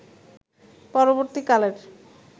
পরবর্তী কালের